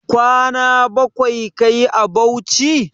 Kwana bakwai kayi a Bauchi?